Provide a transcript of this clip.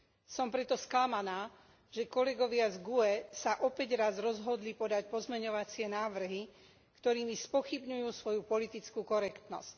Som preto sklamaná, že kolegovia z GUE sa opäť raz rozhodli podať pozmeňujúce návrhy, ktorými spochybňujú svoju politickú korektnosť.